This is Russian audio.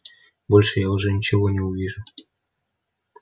больше я уже ничего не увижу